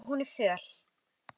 Og hún er föl.